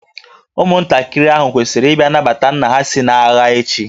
Ụmụntakịrị ahụ kwesịrị ịbịa nabata nna ha si n'agha echi